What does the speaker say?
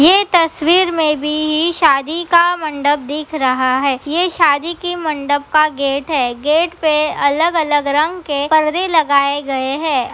ये तस्वीर में भी ही शादी का मंडप दिख रहा है। ये शादी के मंडप का गेट हैं। गेट पे अलग-अलग रंग के पर्दे लगाए गए हैं।